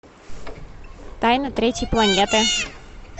тайна третьей планеты